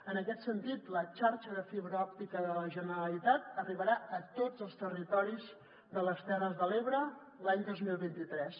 en aquest sentit la xarxa de fibra òptica de la generalitat arribarà a tots els territoris de les terres de l’ebre l’any dos mil vint tres